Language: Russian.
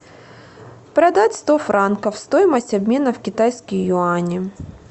продать сто франков стоимость обмена в китайские юани